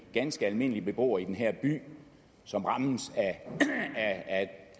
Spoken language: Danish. ganske almindelige beboere i den her by som rammes af